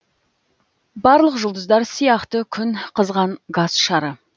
барлық жұлдыздар сияқты күн қызған газ шары